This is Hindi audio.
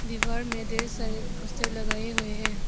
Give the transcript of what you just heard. दीवार में ढेर सारे पोस्टर लगाए हुए हैं।